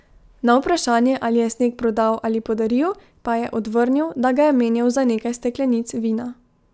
Na vprašanje, ali je sneg prodal ali podaril, pa je odvrnil, da ga je menjal za nekaj steklenic vina.